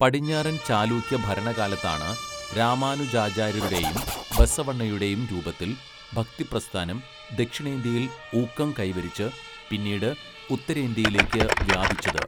പടിഞ്ഞാറൻ ചാലൂക്യ ഭരണകാലത്താണ് രാമാനുജാചാര്യരുടെയും ബസവണ്ണയുടെയും രൂപത്തിൽ ഭക്തി പ്രസ്ഥാനം ദക്ഷിണേന്ത്യയിൽ ഊക്കം കൈവരിച്ച് പിന്നീട് ഉത്തരേന്ത്യയിലേക്ക് വ്യാപിച്ചത്.